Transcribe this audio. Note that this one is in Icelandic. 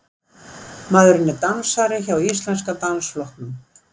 Maðurinn er dansari hjá Íslenska dansflokknum